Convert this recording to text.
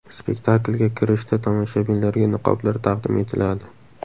Spektaklga kirishda tomoshabinlarga niqoblar taqdim etiladi.